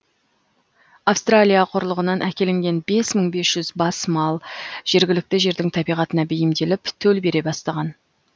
австралия құрлығынан әкелінген бес мың бес жүз бас мал жергілікті жердің табиғатына бейімделіп төл бере бастаған